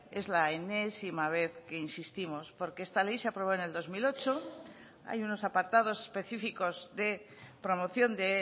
es la enésima vez que insistimos porque esta ley se aprobó en el dos mil ocho hay unos apartados específicos de promoción de